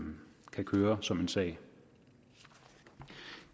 kan køre som en sag